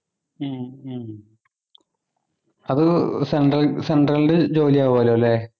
ഉം ഉം അത് central central ലു ജോലി ആവുഅല്ലോ അല്ലെ